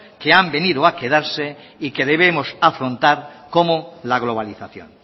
que han venido a quedarse y que debemos afrontar como la globalización